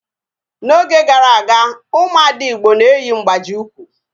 N'oge gara aga, ụmụ ada igbo na-eyi mgbaji ụkwụ